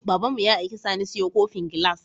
Babanmu ya aiki sani siyo kofin gilas